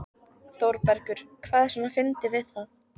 ÞÓRBERGUR: Hvað er svona fyndið við það?